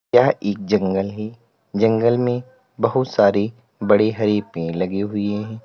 यह एक जंगल है जंगल में बहुत सारी बड़ी हरी पेड़ लगी हुई हैं।